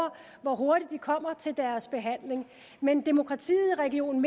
hvor hurtigt vedkommende kommer til deres behandling men demokratiet i region